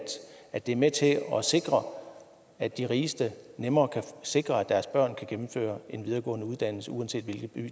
at det er med til at sikre at de rigeste nemmere kan sikre at deres børn kan gennemføre en videregående uddannelse uanset hvilken by